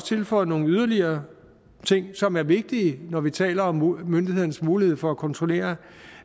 tilføjet nogle yderligere ting som er vigtige når vi taler om myndighedens mulighed for at kontrollere